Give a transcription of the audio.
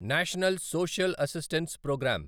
national social assistance programme